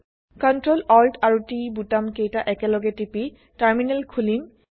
Ctrl Alt আৰু T বুটাম কেইটা একেলগে টিপি টাৰ্মিনেল খোলিম